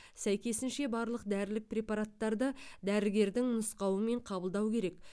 сәйкесінше барлық дәрілік препараттарды дәрігердің нұсқауымен қабылдау керек